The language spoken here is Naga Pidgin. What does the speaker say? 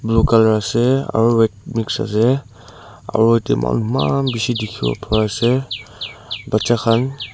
blue colour ase aro red mix ase aro yate moi khan emanbishi dikhiwo pariase bacha khan.